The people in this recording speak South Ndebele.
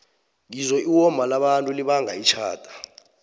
ngizwe iwoma labantu libanga itjhada